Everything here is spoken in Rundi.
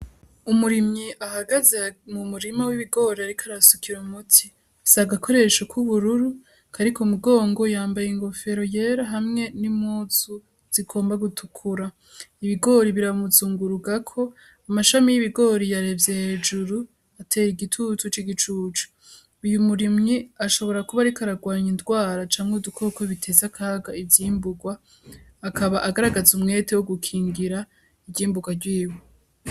Umurimi ahagaze mu murima w'ibigori, ariko arasukira muti isagakoresho kw'ubururu kariko umugongo yambaye ingofero yera hamwe n'imuzu zigomba gutukura ibigori biramuzungurugako amashami y'ibigori yarevye hejuru atera igitutu c'igicucu uyo umurimu ni ashobora kuba arikoararwanya indwara canke udukoko biteza akaga ivyimburwa akaba agaragaze umwete wo gukingira ivyimburwa ryiwe.